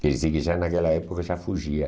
Quer dizer que já naquela época já fugia.